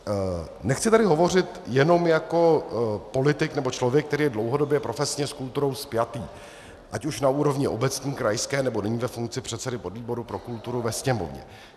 Nechci tady hovořit jenom jako politik nebo člověk, který je dlouhodobě profesně s kulturou spjatý ať už na úrovni obecní, krajské, nebo nyní ve funkci předsedy podvýboru pro kulturu ve Sněmovně.